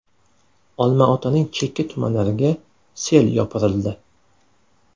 Olma-Otaning chekka tumanlariga sel yopirildi.